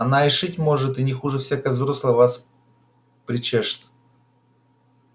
она и шить может и не хуже всякой взрослой вас причешет